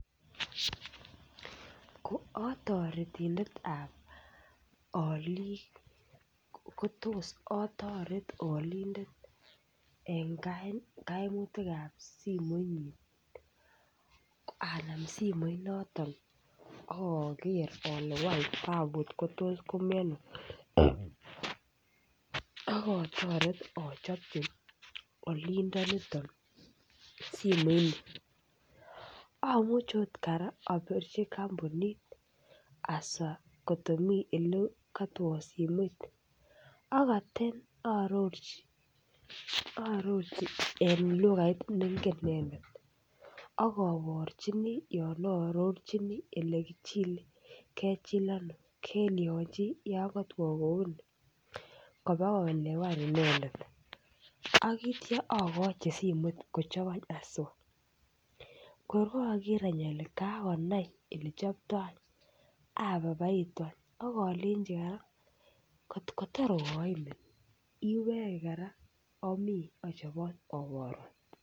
Ko otoretindetab olik kotos otoret olindet en kainutikab sinlmoinyin anan simoit noton ak oker ole want tabut kotos komii Ono ak otoret ochopchi olindoniton simoit nii, omuche ot koraa opirchi kompunit hasa kotko mii olekokotwo simoit akotin ororchi ororchi en lukait nengen inendet akoborchinii olon ororchinii ole kichile, kechil Ono kelyonchi yon kotwo kouni koba koelewan inendet ak ityo okochi simoit kochopchi anch itso, kor koger any ole kakonai olechopto any abaibaiti any ak ilenji koraa kotko tor koimin iwekek koraa omii ochobot oborun.